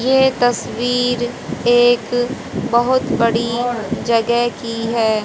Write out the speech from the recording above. ये तस्वीर एक बहुत बड़ी जगह की है।